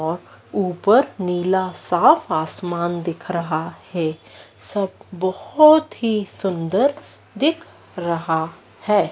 और ऊपर नीला साफ आसमान दिख रहा है सब बहोत ही सुंदर दिख रहा है।